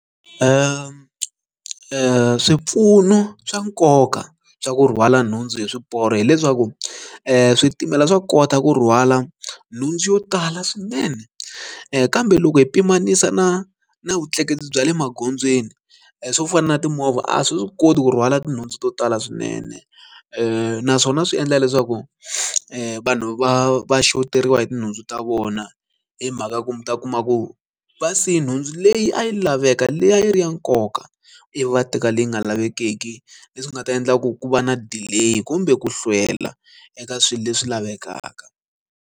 Swipfuno swa nkoka swa ku rhwala nhundzu hi swiporo hileswaku switimela swa kota ku rhwala nhundzu yo tala swinene kambe loko hi pimanisa na na vutleketli bya le magondzweni swo fana na timovha a swi koti ku rhwala tinhundzu to tala swinene naswona swi endla leswaku vanhu va va shoteriwa hi tinhundzu ta vona hi mhaka ku mi ta kuma ku vasiye nhundzu leyi a yi laveka leyi a yi ri ya nkoka ivi va teka leyi nga lavekeki leswi nga ta endla ku ku va na delay kumbe ku hlwela eka swilo leswi lavekaka.